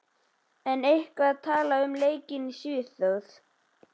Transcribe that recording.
En er eitthvað talað um leikinn í Svíþjóð?